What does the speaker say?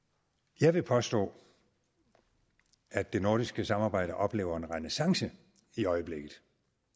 jeg vil påstå at det nordiske samarbejde oplever en renæssance i øjeblikket